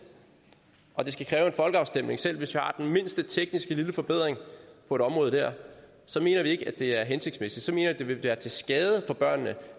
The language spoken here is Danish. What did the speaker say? og at det skal kræve en folkeafstemning selv hvis der er den mindste tekniske forbedring på et område så mener vi ikke at det er hensigtsmæssigt så mener vi at det vil være til skade for børnene